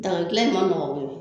Daga dilan in ma nɔgɔ koyi.